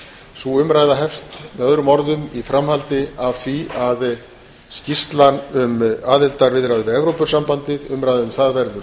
sú umræða hefst með öðrum orðum í framhaldi af því að umræðu um skýrsluna um aðildarviðræður við evrópusambandið verður